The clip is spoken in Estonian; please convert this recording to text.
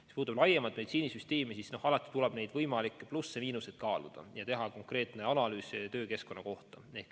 Mis puutub laiemalt meditsiinisüsteemi, siis alati tuleb võimalikke plusse-miinuseid kaaluda ja teha analüüs konkreetse töökeskkonna kohta.